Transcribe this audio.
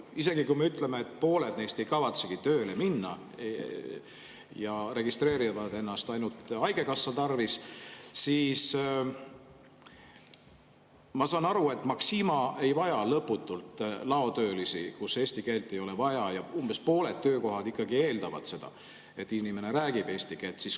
Isegi kui me ütleme, et pooled neist ei kavatsegi tööle minna ja registreerivad ennast ainult haigekassa tarvis, Maxima ei vaja lõputult laotöölisi, kellel eesti keelt ei ole vaja, ja umbes pooled töökohad ikkagi eeldavad seda, et inimene räägib eesti keelt.